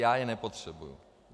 Já je nepotřebuji.